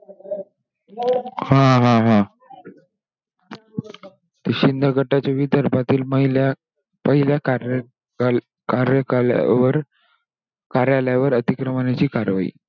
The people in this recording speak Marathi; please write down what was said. हा हा, हा! शिंदे गटातील विदर्भातील महिला, पहिल्या कार्य कार्य कार्यकालावर कार्यालयावर अतिक्रमणाची कार्यवाही.